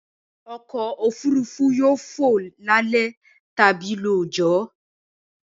Ọkọ̀-òfurufú yóò fò lálẹ́ tàbí lóòjọ́